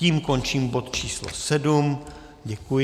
Tím končím bod číslo 7. Děkuji.